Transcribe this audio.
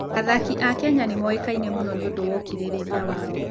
Athaki a Kenya nĩ moĩkaine mũno nĩ ũndũ wa ũkirĩrĩria wao.